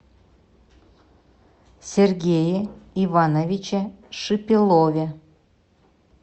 сергее ивановиче шипилове